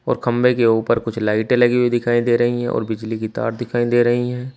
और खंभे के ऊपर कुछ लाइटे लगी हुई दिखाई दे रही है और बिजली की तार दिखाई दे रही हैं।